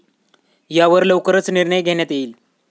यावर लवकरच निर्णय घेण्यात येईल.